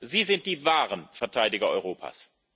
Sie sind die wahren Verteidiger Europas.